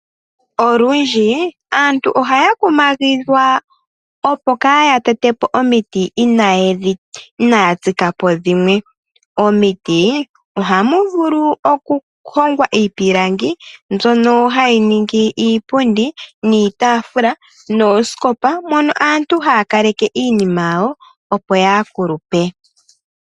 Olundji aantu ohaya kumagidhwa opo kaaya tete po omiti inaya tsika po dhimwe. Omiti ohamu vulu okuhongwa iipilangi mbyono hayi ningi iipundi, iitaafula noosikopa mono aantu haya kaleke iinima yawo opo yaa kulupe.